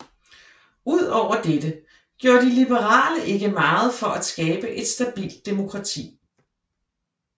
Ud over dette gjorde de liberale ikke meget for at skabe et stabilt demokrati